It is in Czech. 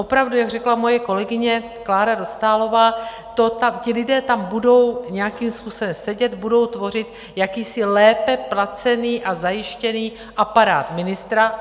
Opravdu, jak řekla moje kolegyně Klára Dostálová, ti lidé tam budou nějakým způsobem sedět, budou tvořit jakýsi lépe placený a zajištěný aparát ministra.